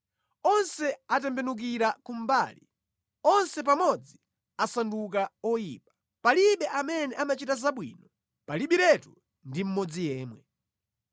Onse atembenukira kumbali, onse pamodzi asanduka oyipa; palibe amene amachita zabwino, palibiretu ndi mmodzi yemwe.